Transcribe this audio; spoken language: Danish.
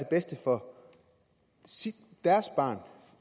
bedste for deres barn